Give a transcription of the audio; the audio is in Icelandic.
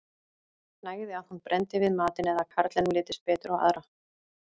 Nægði að hún brenndi við matinn eða að karlinum litist betur á aðra.